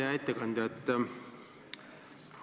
Hea ettekandja!